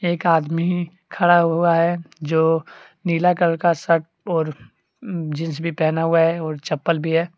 एक आदमी खड़ा हुआ है जो नीला कलर का शर्ट और जींस भी पहना हुआ है और चप्पल भी है।